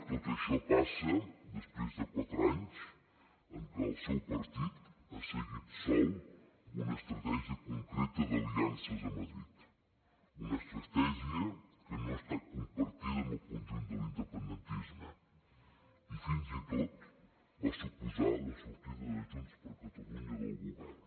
tot això passa després de quatre anys en què el seu partit ha seguit sol una estratègia concreta d’aliances a madrid una estratègia que no ha estat compartida pel conjunt de l’independentisme i fins i tot va suposar la sortida de junts per catalunya del govern